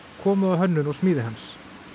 komu að hönnun og smíði hans